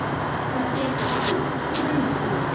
капец память как у рыбки